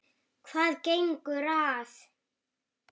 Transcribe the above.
Hvað gengur að?